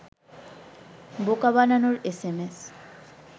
বোকা বানানোর এসএমএস